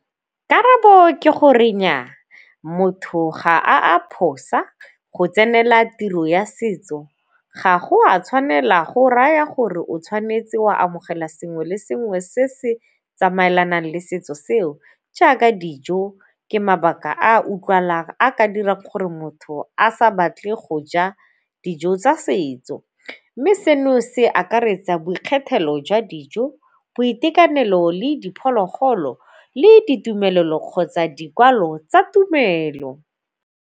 Karabo ke gore nnyaa, motho ga a phosa go tsenela tiro ya setso ga go a tshwanela go raya gore o tshwanetse wa amogela sengwe le sengwe se se tsamaelanang le setso seo jaaka dijo ke mabaka a utlwalang a ka dira gore motho a sa batle go ja dijo tsa setso. Mme seno se akaretsa boikgethelo jwa dijo, boitekanelo, le diphologolo le ditumelelo kgotsa dikwalo tsa tumelo.